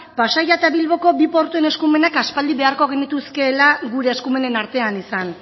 pasaia eta bilboko bi portuen eskumenak aspaldi beharko genituzkeela gure eskumenen artean izan